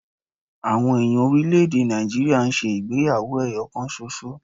Àwọn èèyàn orílẹ̀-èdè Nàìjíríà ń ṣe ìgbéyàwó ẹyọ kan ṣoṣo